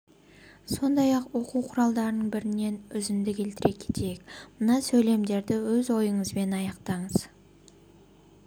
сондай оқу құралдарының бірінен үзінді келтіре кетейік мына сөйлемдерді өз ойыңызбен аяқтаңыз